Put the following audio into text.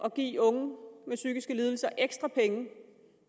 at give unge med psykiske lidelser ekstra penge